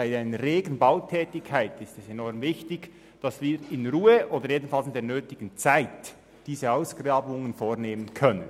Bei einer regen Bautätigkeit ist es enorm wichtig, dass wir in Ruhe, oder jedenfalls mit der nötigen Zeit, diese Ausgrabungen vornehmen können.